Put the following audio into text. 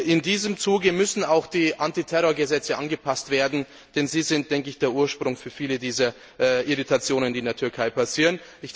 In diesem Zuge müssen auch die Antiterrorgesetze angepasst werden, denn sie sind der Ursprung für viele dieser Irritationen, die in der Türkei passieren.